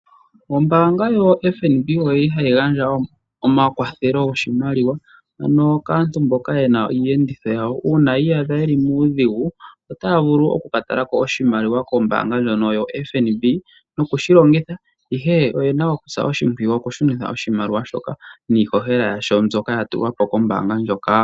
Ombaanga yoFNB oyili hayi gandja omakwathelo goshimaliwa ano kaantu mboka yena iiyenditho yawo uuna ya iyadha ye li muudhigu otaya vulu oku ka tala ko oshimaliwa kombaanga ndjono yoFNB nokushi longitha, ihe oyena okusa oshimpwiyu okushunitha oshimaliwa shoka niihohela yasho mbyoka ya tulwa po kombaanga ndjoka.